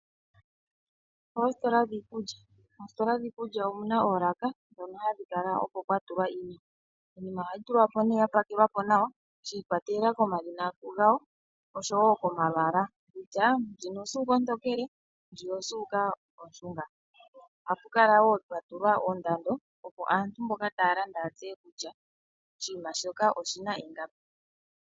Moositola dhiikulya omu na oolaka, ndhono hadhi kala okwo kwa tulwa iinima. Iinima ohayi tulwa po nee ya pakelwa po nawa, shiikwatelela komadhina gawo, oshowo komalwaala. Kutya, ngele ndjino osuuka ontokele yo ndjiya osuuka ondjimbi. Ohapu kala wo pwa tulwa oondado, opo aantu ya tseye kutya oshinima shoka oshi na ingapi.